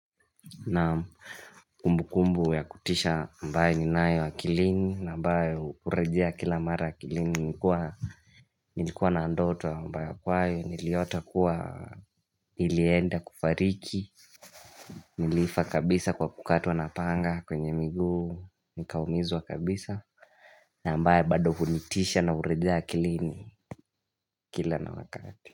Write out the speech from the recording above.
Na kumbu kumbu ya kutisha ambayo ninayo akilini na ambayo hurejea kila mara akilini nikuwa Nilikuwa na ndoto ambayo kwayo niliota kuwa nilienda kufariki Nilifa kabisa kwa kukatwa napanga kwenye miguu nikaumizwa kabisa na ambayo bado kunitisha na hurejea akilini kila na wakati.